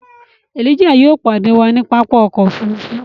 Elijah yóò padẹ wà ni pápá ọkọ̀ òfurufú